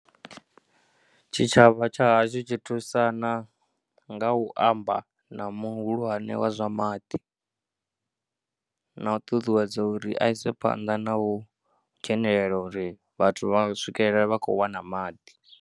Tshitshavha tsha hashu tshi thusana nga u amba na muhulwane wa zwa maḓi na u ṱuṱuwedza uri a ise phanḓa na u dzhenelela uri vhathu vha swikelela vha khou wana maḓi.